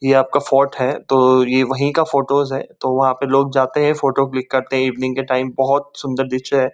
ये आपका फोर्ट है। तो ये वही का फोटोज है। तो वहाँ पे लोग जाते है। फोटो क्लिक करते हैं । इवनिंग के टाइम बहोत सुंदर दृश्य है।